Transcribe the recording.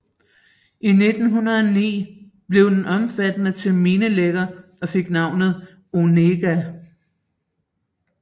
I 1909 blev den ombygget til minelægger og fik navnet Onega